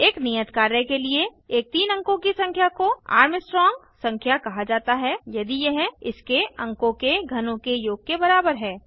एक नियत कार्य के लिए एक तीन अंकों की संख्या को आर्मस्ट्रांग संख्या कहा जाता है यदि यह इसके अंकों के घनों के योग के बराबर है